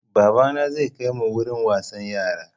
Babana zai kai mu wurin wasan yara.